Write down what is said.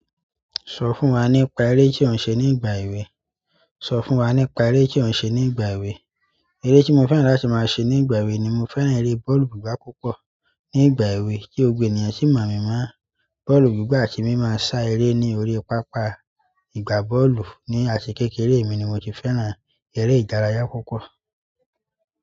Sọ fún wa nípa ere ti o n ṣe nígbà ewe. Sọ fún wa nípa eré tí ó ń ṣe ní ìgbà èwe. Eré tí mo fẹ́ràn láti máa ṣe ní ìgbà èwe ni mo fẹ́ràn eré bọ́ọ̀lù gbígbá púpọ̀. Ní ìgbà èwe, kí gbogbo ènìyàn sí mọ̀ mí mọ̀. Bọ́ọ̀lù gbígbá àti mimọ sá eré ní orí pápá ìgbà bọ́ọ̀lù. Ní àti kékeré mi ni mo ti fẹ́ràn eré ìdárayá púpọ̀.